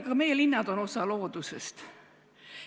Ka meie linnad on osa loodusest.